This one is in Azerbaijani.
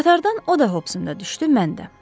Qatardan o da Hopsundan düşdü, mən də.